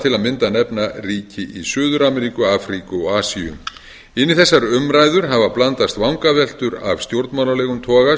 til að mynda nefna ríki í suður ameríku afríku og asíu inn í þessar umræður hafa blandast vangaveltur af stjórnmálalegum toga